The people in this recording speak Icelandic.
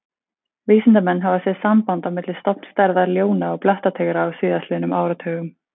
Vísindamenn hafa séð samband á milli stofnstærða ljóna og blettatígra á síðastliðnum áratugum.